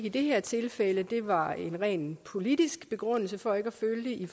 i det her tilfælde der var en ren politisk begrundelse for ikke at følge